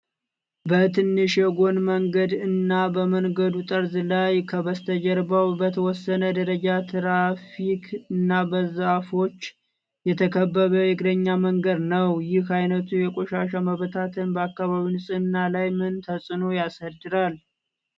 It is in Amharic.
በትንሹ የጎን መንገድ እና በመንገዱ ጠርዝ ላይ ፣ ከበስተጀርባም በተወሰነ ደረጃ ትራፊክ እና በዛፎች የተከበበ የእግረኛ መንገድ ነው። ይህ ዓይነቱ የቆሻሻ መበታተን በአካባቢው ንጽህና ላይ ምን ተጽዕኖ ያሳድራል?